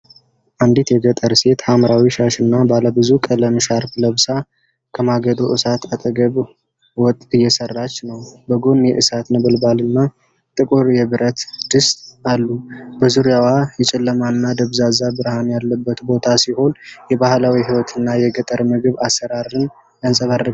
አንዲት የገጠር ሴት ሐምራዊ ሻሽና ባለብዙ ቀለም ሻርፕ ለብሳ፣ ከማገዶ እሳት አጠገብ ወጥ እየሠራች ነው። በጎን የእሳት ነበልባልና ጥቁር የብረት ድስት አሉ። በዙሪያዋ የጨለመና ደብዛዛ ብርሃን ያለበት ቦታ ሲሆን የባህላዊ ሕይወትና የገጠር ምግብ አሠራርን ያንፀባርቃል።